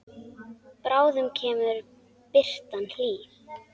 Bráðum kemur birtan hlý.